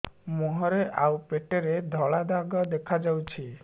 ମୁହଁରେ ଆଉ ପେଟରେ ଧଳା ଧଳା ଦାଗ ଦେଖାଯାଉଛି